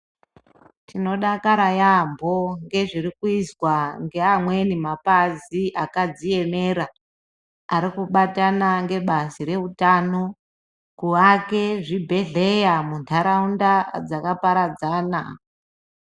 Tinodakara yambo ngezviri kuyizwa ngeamweni mapazi akadziyemera, ari kubatana ngebazi reutano kuake zvibhedhleya mundaraunda dzakaparadzana.